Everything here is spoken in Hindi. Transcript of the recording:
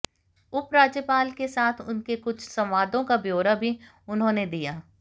उपराज्यपाल के साथ उनके कुछ संवादों का ब्योरा भी उन्होंने दिया